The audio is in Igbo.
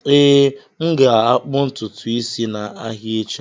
Ee, m ga-akpụ ntutu isi m n'ahịa echi.